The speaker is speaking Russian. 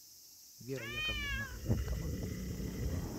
вера яковлевна улькова